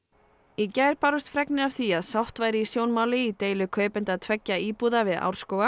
í gær bárust fregnir af því að sátt væri í sjónmáli í deilu kaupenda tveggja íbúða við